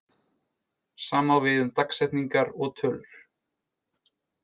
Sama á við um dagsetningar og tölur.